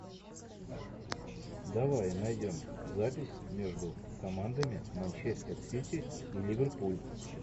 давай найдем запись между командами манчестер сити и ливерпуль